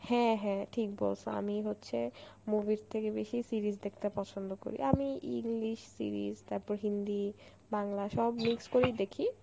হ্যাঁ হ্যাঁ ঠিক বলসো আমি হচ্ছে movie এর থেকে বেশি series দেখতে পছন্দ করি. আমি English series তারপর হিন্দি বাংলা সব mix করেই দেখি,